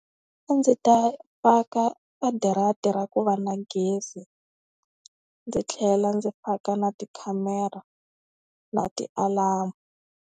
A ndzi ta faka a darata ra ku va na gezi, ndzi tlhela ndzi faka na tikhamera na tialamu.